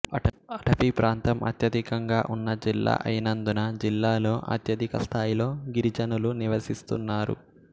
అటవీప్రాంతం అత్యధికంగా ఉన్న జిల్లా అయినందున జిల్లాలో అత్యధికస్థాయిలో గిరిజనులు నివసిస్తున్నారు